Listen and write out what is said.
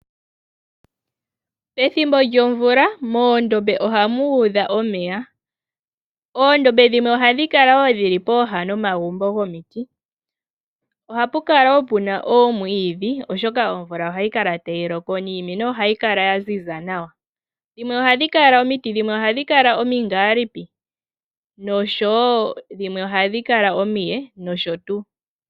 Pethimbo lyomvula moondombe ohamu udha omeya . Oondombe dhimwe ohadhi kala woo dhili pooha nomagumbo gomiti . Ohapu kala woo puna oomwiidhi oshoka omvula ohayi kala tayi loko niimeno ohayi kala ya ziza nawa. Omiti dhimwe ohadhi kala omingaalipi ,dhimwe ohadhi kala omiye nosho tuu.